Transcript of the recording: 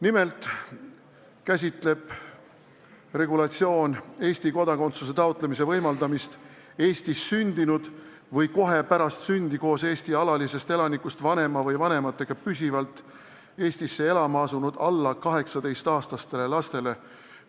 Nimelt sisaldab pakutav regulatsioon Eesti kodakondsuse taotlemise võimalust, kui tegu on Eestis sündinud või kohe pärast sündi koos Eesti alalisest elanikust vanema või vanematega püsivalt Eestisse elama asunud alla 18-aastaste lastega.